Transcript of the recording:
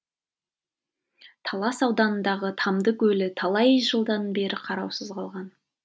талас ауданындағы тамды көлі талай жылдан бері қараусыз қалған